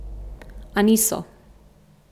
A niso.